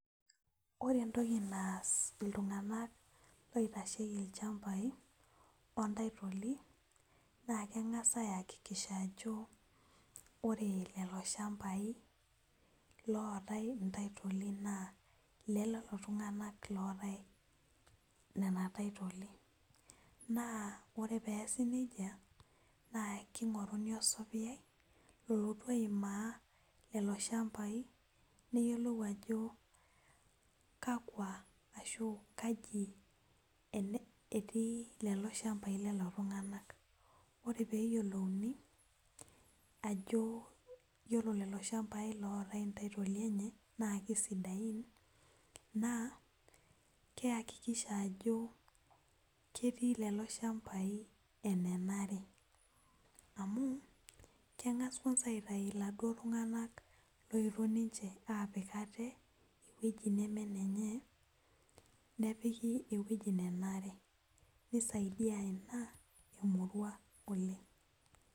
Ore entoki naas ltunganak oitashieki lchambai ontaitoli na kengasa aiakikisha ajo ore lchambai oatae ntaitoli na lolotunganak nena taitoli ore peasi nejia na kingoruni osapeyailolotu aimaa loloshambai neyioloiajo kaji etii lchmbai lo lolo tunganak yiolo peyiolouni ajo yiolo loloshambai ootae ntaitoi enye na kihakikisha ajo ketii loloshambai ewoi nenare amu kengas aitau laduo tunganak otii ewoi nemenenye nepiki ewoi nenare. nisaidia ina emurua oleng.